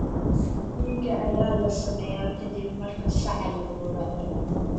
Dhiiga ayaa la sameeyaa ka dib marka saca la gowraco.